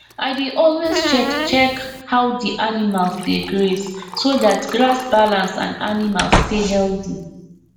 i dey always check check how the animals dey graze so that grass balance and animals stay healthy